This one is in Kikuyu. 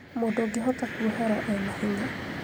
mũndũ ũngĩhota kũohera ena hinya